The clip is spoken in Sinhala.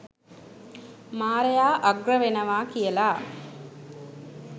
මාරයා අග්‍ර වෙනවා කියලා.